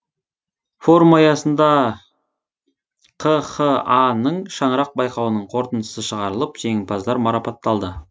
форум аясында қха ның шаңырақ байқауының қорытындысы шығарылып жеңімпаздар марапатталды